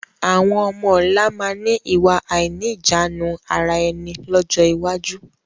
Àwọn ọmọ ọ̀la máa ni ìwà àìníjàánu ara ẹni lọ́jọ́ iwájú